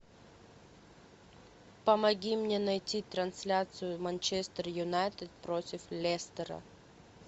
помоги мне найти трансляцию манчестер юнайтед против лестера